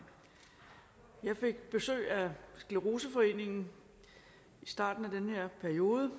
jeg fik besøg af scleroseforeningen i starten af den her periode